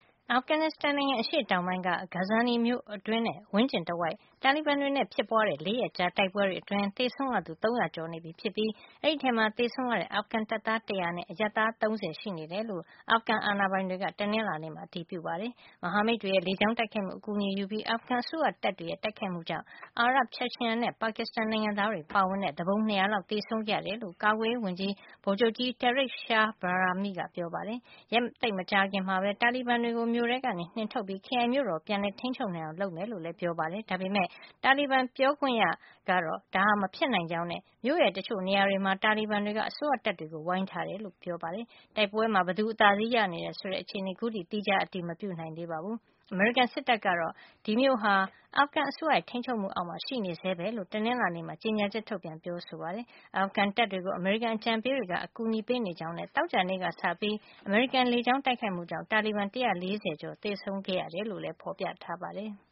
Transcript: အာဖဂန်နစ်စတန်နိုင်ငံ အရှေ့တောင်ပိုင်းက Ghazni မြို့တွင်းနဲ့ ဝန်းကျင်တဝိုက် တာလီဘန်တွေနဲ့ ဖြစ်ပွါးတဲ့ ၄ ရက်ကြာ တိုက်ပွဲတွေ အတွင်း သေဆုံးရသူ ၃၀၀ ကျော်နေပြီဖြစ်ပြီး အဲဒီထဲမှာ သေဆုံးရတဲ့ အာဖဂန်တပ်သား ၁၀၀ နဲ့ အရပ်သားက ၃၀ ရှိနေတယ်လို့ အာဖဂန်အာဏာပိုင်တွေက တနင်္လာနေ့မှာ အတည်ပြုခဲ့ပါတယ်။ မဟာမိတ်တွေရဲ့ လေကြောင်းတိုက်ခိုက်မှု အကူညီကိုယူပြီး အာဖဂန်အစိုးရတပ်တွေရဲ့ တိုက်ခိုက်မှုကြောင့် အာရပ်၊ Chechen နဲ့ ပါကစ္စတန် နိုင်ငံသားတွေ ပါဝင်တဲ့ သူပုန် ၂၀၀ လောက် သေဆုံးခဲ့ရတယ်လို့ ကာကွယ်ရေး ဝန်ကြီး ဗိုလ်ချုပ်ကြီး Tariq Shah Bahrami ကပြောပါတယ်။ ရက်သိပ်မကြာခင်မှာပဲ တာလီဘန်တွေကို မြို့ထဲကနေ နှင်ထုတ်ပြီး ခရိုင်မြို့တော်ကို ပြန်လည် ထိန်းချုပ်နိုင်အောင် လုပ်ဆောင်မှာ ဖြစ်ကြောင်းလည်း ပြောပါတယ်။ ဒါပေမယ့် တာလီဘန် ပြောခွင့်ရ Zabihullah Mujahid ကတော့ ဒါဟာ မဖြစ်နိုင်ကြောင်းနဲ့ မြို့ရဲ့ တချို့နေရာတွေမှာ တာလီဘန်တွေက အစိုးရတပ်တွေကို ဝိုင်းထားတယ်လို့ ပြောပါတယ်။ တိုက်ပွဲမှာ ဘယ်သူအသာစီးရနေတယ် ဆိုတဲ့ အခြေနေကို ခုထိ သီးခြား အတည်မပြုနိုင် သေးပါဘူး။ အမေရိကန်စစ်တပ်ကတော့ ဒီမြို့ဟာ အာဖဂန်အစိုးရရဲ့ ထိန်းချုပ်မှုအောက်မှာ ရှိနေဆဲပဲလို့ တနင်္လာနေ့မှာ ကြေညာချက် ထုတ်ပြန်ပြောဆို ပါတယ်။ အာဖဂန်တပ်တွေကို အမေရိကန်အကြံပေးတွေက အကူအညီပေးနေကြောင်းနဲ့ သောကြာနေ့က စပြီး အမေရိကန်ရဲ့ လေကြောင်း တိုက်ခိုက်မှုကြောင့် တာလီဘန် ၁၄၀ ကျော် သေဆုံးခဲ့ရတယ်လို့လည်း ဖေါ်ပြထားပါတယ်။